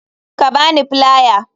Ka ba ni filiar.